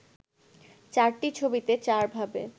চারটি ছবিতে চারভাবে